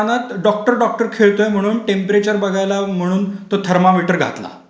त्याच्या कानात doctor doctor खेळतोय म्हणून टेंपरेचर बघायला म्हणून थर्मामीटर घातला,